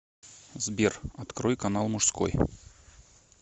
сбер открой канал мужской